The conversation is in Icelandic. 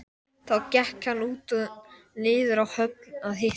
Þá gekk hann út og niður á höfn að hitta